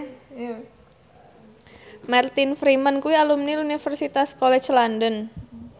Martin Freeman kuwi alumni Universitas College London